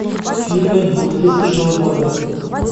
фильмы двухтысячного года